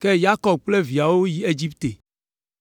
ke Yakob kple viawo yi Egipte.